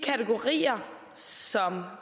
så